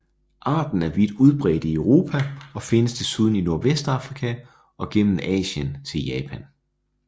Arten er vidt udbredt i Europa og findes desuden i Nordvestafrika og gennem Asien til Japan